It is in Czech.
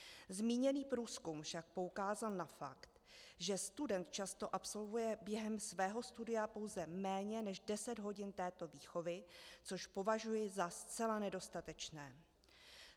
Zmíněný průzkum však poukázat na fakt, že student často absolvuje během svého studia pouze méně než deset hodin této výchovy, což považuji za zcela nedostatečné.